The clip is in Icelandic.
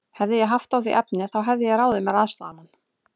Hefði ég haft á því efni, þá hefði ég ráðið mér aðstoðarmann.